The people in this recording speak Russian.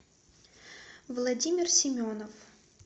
владимир семенов